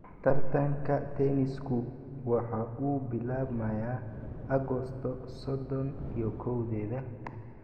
Tartanka tennis-ku waxa uu bilaabmayaa Agoosto sodon iyo kowdeda